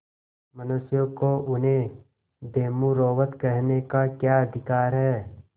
मनुष्यों को उन्हें बेमुरौवत कहने का क्या अधिकार है